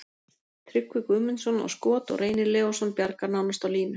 Tryggvi Guðmundsson á skot og Reynir Leósson bjargar nánast á línu.